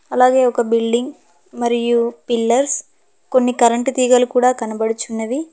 ఒక బిల్డింగ్ మరియు పిల్లర్స్ కొన్ని కరెంటు తీగలు కూడా కనబడుచున్నవి.